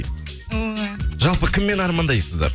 ой жалпы кіммен армандайсыздар